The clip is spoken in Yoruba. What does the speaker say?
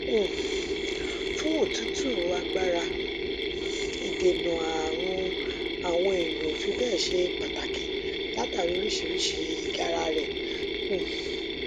um fún òtútù agbára um ìdènà ààrùn àwọn èèyàn ò fi bẹẹ ṣe pàtàkì látàrí oríṣiríṣi ìgara rẹ um